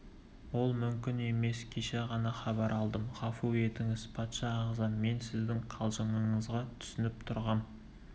ол мүмкін емес кеше ғана хабар алдым ғафу етіңіз патша ағзам мен сіздің қалжыңыңызға түсініп тұрғам